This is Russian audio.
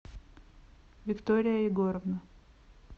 виктория егоровна